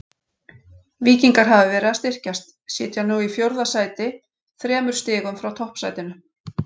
Víkingar hafa verið að styrkjast, sitja nú í fjórða sæti þremur stigum frá toppsætinu.